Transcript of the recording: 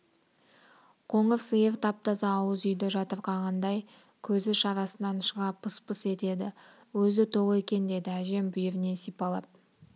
қоңыр сиыр тап-таза ауыз үйді жатырқағандай көзі шарасынан шыға пыс-пыс етеді өзі тоқ екен деді әжем бүйірінен сипалап